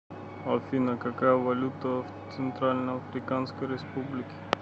афина какая валюта в центральноафриканской республике